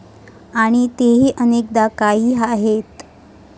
आणि तेही अनेकदा काही आहेत.